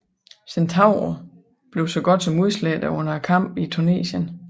Centauro blev så godt som udslette under kampene i Tunesien